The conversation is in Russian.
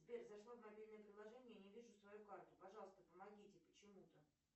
сбер зашла в мобильное приложение и не вижу свою карту пожалуйста помогите почему то